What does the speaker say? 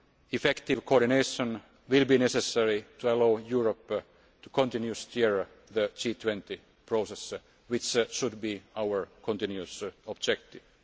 Effective coordination will be necessary to allow Europe to continue to steer the G20 process, which should be our continuous objective.